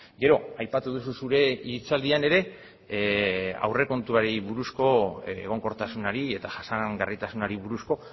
gero aipatu duzu zure hitzaldian ere aurrekontuari buruzko egonkortasunari eta jasangarritasunari buruzko